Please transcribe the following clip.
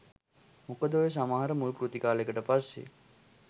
මොකද ඔය සමහර මුල්කෘති කාලෙකට පස්සෙ